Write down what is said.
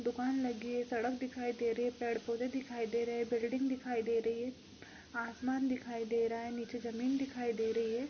दुकान लगी है सड़क दिखाई दे रही है। पेड़-पौधे दिखाई दे रहे है बिल्डिंग दिखाई दे रही है आसमान दिखाई दे रहा है नीचे जमीन दिखाई दे रही है।